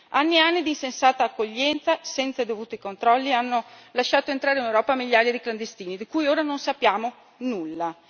Anni e anni di insensata accoglienza, senza i dovuti controlli, hanno lasciato entrare in Europa migliaia di clandestini, di cui ora non sappiamo nulla.